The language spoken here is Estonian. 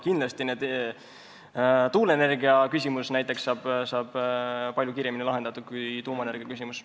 Kindlasti saab näiteks tuuleenergia küsimus palju kiiremini lahendatud kui tuumaenergia küsimus.